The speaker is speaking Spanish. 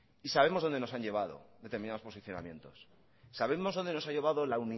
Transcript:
y sabemos dónde nos han llevado determinados posicionamientos sabemos dónde nos ha llevado la